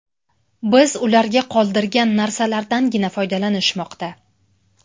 Biz ularga qoldirgan narsalardangina foydalanishmoqda.